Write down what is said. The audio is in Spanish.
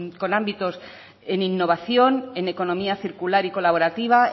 con ámbitos en innovación en economía circular y colaborativa